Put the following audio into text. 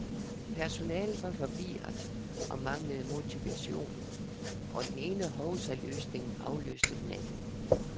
Personalet var forvirret og manglede motivation, og den ene hovsaløsning afløste den anden.